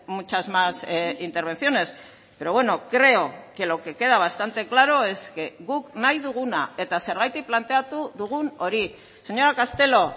muchas más intervenciones pero bueno creo que lo que queda bastante claro es que guk nahi duguna eta zergatik planteatu dugun hori señora castelo